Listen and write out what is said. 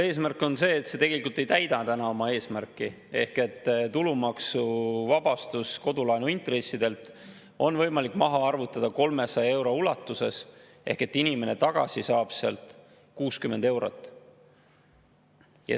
Eesmärk on see, et see tegelikult ei täida täna oma eesmärki, ehk tulumaksuvabastust kodulaenu intressidelt on võimalik maha arvutada 300 euro ulatuses, inimene saab sealt tagasi 60 eurot.